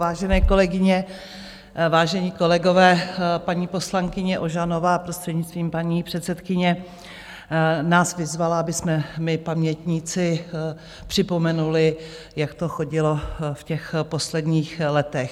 Vážené kolegyně, vážení kolegové, paní poslankyně Ožanová, prostřednictvím paní předsedkyně, nás vyzvala, abychom my pamětníci připomenuli, jak to chodilo v těch posledních letech.